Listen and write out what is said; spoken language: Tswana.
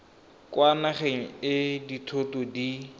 kwa nageng e dithoto di